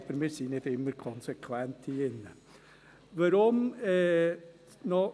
Aber wir sind nicht immer konsequent hier drin.